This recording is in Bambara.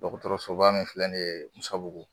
Dɔgɔtɔrɔsoba min filɛ nin ye Musabugu